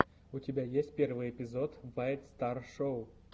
у тебя есть первый эпизод вайт стар шоу